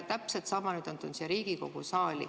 Täpselt sama on nüüd tulnud siia Riigikogu saali.